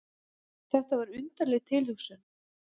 Það var undarleg tilhugsun.